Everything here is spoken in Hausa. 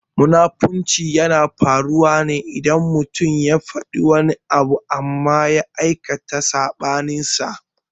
Munafunci yana faruwa ne idan mutum ya faɗi wani abu amma ya aikata saɓaninsa.